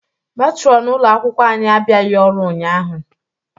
Metronụ ụlo akwụkwọ anyị abịaghị ọrụ ụnyaahụ.